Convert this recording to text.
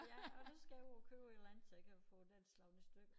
Ja og så skal jeg ud og købe et eller andet så jeg kan få den slået i stykker